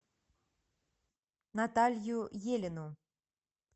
наталью елину